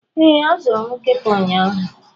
Ee, azụrụ m nkịta ụnyahụ.